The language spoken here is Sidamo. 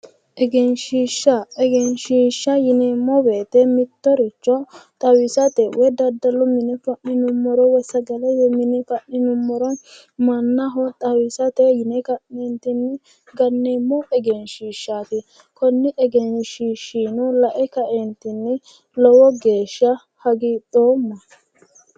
Egensiishsha, egensiishsha yineemmo woyte mittoricho xawisate woy daddalu mine fa'ninummoro woy sagalete mine fa'ninummoro mannaho xawisate yine ka'neentinni ganneemmo egensiishshaati. Konni egensiishshiino lae ka"eentinni lowo geeshsha hagiidhoomma